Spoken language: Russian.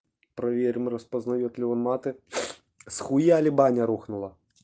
проверим распознает ли он маты схуяли баня рухнула